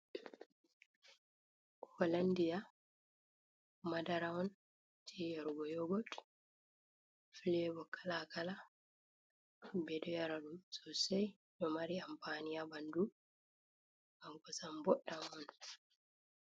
Holandia madara on jeyargo yogot filebo kala-kala, ɓeɗo yarora sosei ɗo mari ampani ha ɓandu, ngam kosam boɗɗam on.